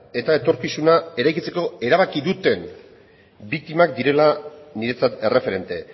eta etorkizuna eraikitzeko erabaki duten biktimak direla niretzat erreferente